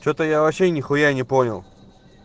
что-то я вообще нехуя не понял